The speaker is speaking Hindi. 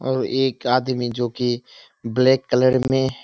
और एक आदमी जो की ब्लैक कलर में --